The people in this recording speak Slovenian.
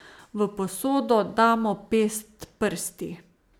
V posodo damo pest prsti.